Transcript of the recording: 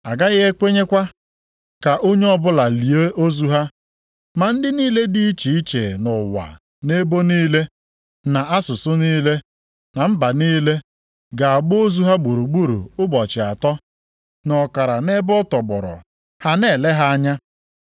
A gaghị ekwenyekwa ka onye ọbụla lie ozu ha. Ma ndị niile dị iche iche nʼụwa, nʼebo niile, na asụsụ niile, na mba niile ga-agba ozu ha gburugburu ụbọchị atọ na ọkara nʼebe a tọgbọrọ ha na-ele ha anya.